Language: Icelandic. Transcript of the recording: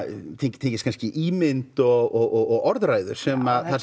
tengist kannski ímynd og orðræðu þar sem